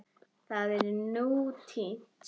Það er nú týnt.